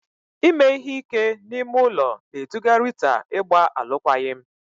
Ime ihe ike n'ime ụlọ na-eduga Rita ịgba alụkwaghịm.